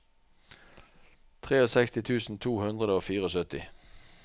sekstitre tusen to hundre og syttifire